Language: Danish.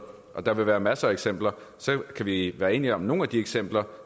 der vil være masser af eksempler så kan vi være enige om at nogle af de eksempler